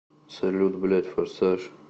салют блядь форсаж